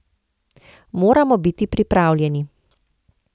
Moramo biti pripravljeni.